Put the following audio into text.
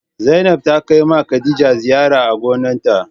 Zainab ta Kai ma Khadija ziyara a gonan ta.